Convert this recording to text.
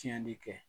Tiɲɛni kɛ